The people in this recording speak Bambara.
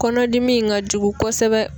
Kɔnɔdimi in ka jugu kosɛbɛ.